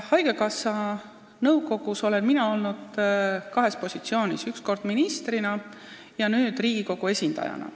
Haigekassa nõukogus olen mina olnud kahes positsioonis: üks kord ministrina ja nüüd Riigikogu esindajana.